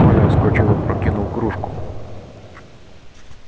коля вскочил опрокинул кружку